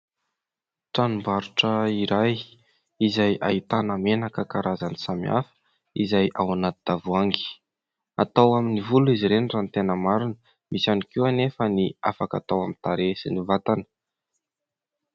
Tranom-barotra iray izay ahitana menaka karazany samihafa izay ao anaty tavoahangy, atao amin'ny volo izy ireny raha ny tena marina, misy ihany koa anefa ny afaka hatao amin'ny tarehy sy ny vatana.